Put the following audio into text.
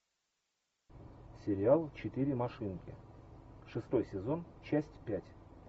сериал четыре машинки шестой сезон часть пять